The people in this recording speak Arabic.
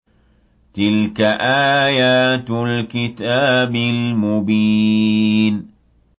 تِلْكَ آيَاتُ الْكِتَابِ الْمُبِينِ